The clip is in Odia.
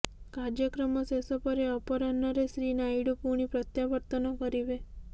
କାର୍ଯ୍ୟକ୍ରମ ଶେଷ ପରେ ଅପରାହ୍ନରେ ଶ୍ରୀ ନାଇଡୁ ପୁଣି ପ୍ରତ୍ୟାବର୍ତ୍ତନ କରିବେ